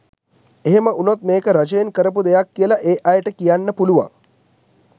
එහෙම වුනොත් මේක රජයෙන් කරපු දෙයක් කියලා ඒ අයට කියන්න පුළුවන්.